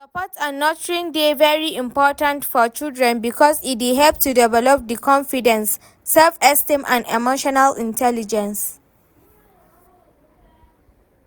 Support and nurturing dey very important for children because e dey help to develop di confidence, self-esteem and emotional intelligence.